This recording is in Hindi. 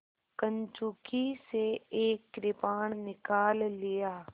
कंचुकी से एक कृपाण निकाल लिया